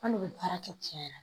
An de bɛ baara kɛ cɛn yɛrɛ la